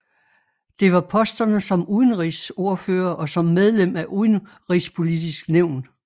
Det var posterne som udenrigsordfører og som medlem af Udenrigspolitisk Nævn